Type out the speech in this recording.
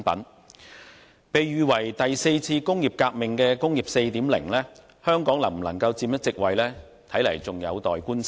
香港能否在被喻為第四次工業革命的"工業 4.0" 中佔一席位，尚有待觀察。